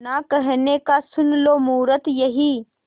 ना कहने का सुन लो मुहूर्त यही